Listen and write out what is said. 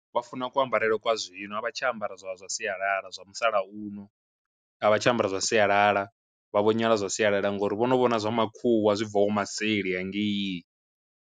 Vhafuna ku ambarele kwa zwino a vha tsha ambara zwa zwa sialala zwa musalauno, a vha tsha ambara zwa sialala vha vho nyala zwa sialala ngori vhono vhona zwa ma khuwa zwibvhaho ma seli hangei.